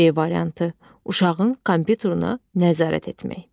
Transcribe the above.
C variantı, uşağın kompyuterinə nəzarət etmək.